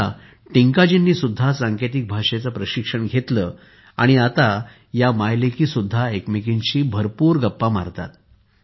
आता टिंकाजींनी सुद्धा सांकेतिक भाषेचे प्रशिक्षण घेतले आहे आणि आता या माय लेकी सुद्धा एकमेकींशी भरपूर गप्पा मारतात